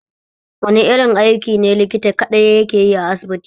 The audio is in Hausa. Wani irin aiki ne likta kaɗai yake yi a asibiti?